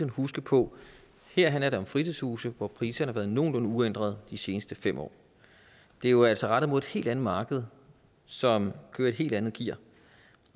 huske på at her handler det om fritidshuse hvor priserne har været nogenlunde uændrede de seneste fem år det er jo altså rettet mod et helt andet marked som kører i et helt andet gear